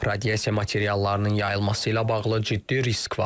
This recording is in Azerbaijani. Radiasiya materiallarının yayılması ilə bağlı ciddi risk var.